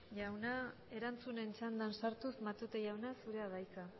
jauna erantzunen txandan sartuz matute jauna zurea da hitza